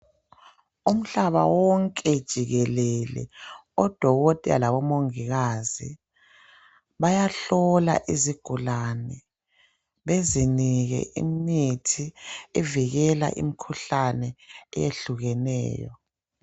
Umhlaba wonke jikelele, odokotela labomongikazi, bayahlola izigulane. Bezinike imithi, evikela imikhuhlane, eyehlukeneyo.